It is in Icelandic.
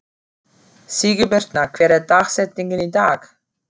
Sigurbirna, hver er dagsetningin í dag?